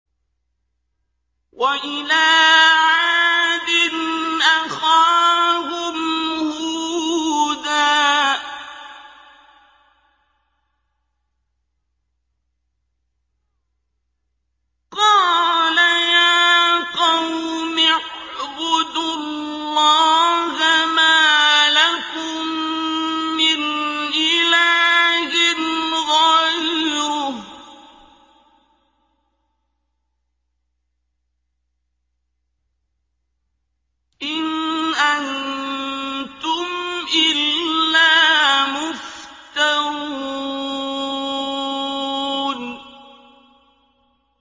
وَإِلَىٰ عَادٍ أَخَاهُمْ هُودًا ۚ قَالَ يَا قَوْمِ اعْبُدُوا اللَّهَ مَا لَكُم مِّنْ إِلَٰهٍ غَيْرُهُ ۖ إِنْ أَنتُمْ إِلَّا مُفْتَرُونَ